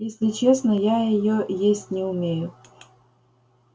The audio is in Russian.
если честно я её есть не умею